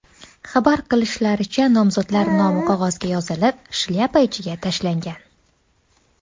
Xabar qilishlaricha, nomzodlar nomi qog‘ozga yozilib, shlyapa ichiga tashlangan.